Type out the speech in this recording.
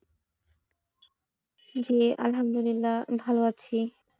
জি আলহামদুলিল্লা ভালো আছি।